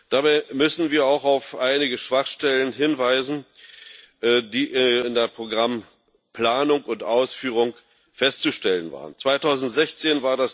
Dabei müssen wir auch auf einige Schwachstellen hinweisen, die in der Programmplanung und ausführung festzustellen waren. 2016